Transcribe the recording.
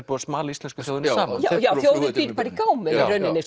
búið að smala íslensku þjóðinni saman já já þjóðin býr bara í gámum